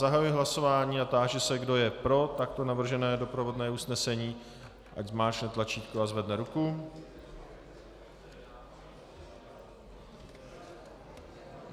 Zahajuji hlasování a táži se, kdo je pro takto navržené doprovodné usnesení, ať zmáčkne tlačítko a zvedne ruku.